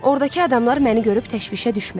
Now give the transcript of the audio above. Ordakı adamlar məni görüb təşvişə düşməz.